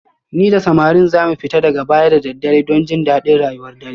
Ni da samarin za mu fita daga baya da daddare don jin daɗin rayuwar dare